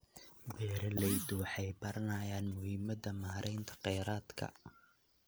Beeraleydu waxay baranayaan muhiimadda maareynta kheyraadka.